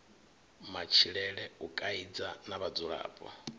matshilele u kaidza na vhadzulapo